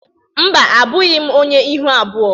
Mba, abụghị m onye ihu abụọ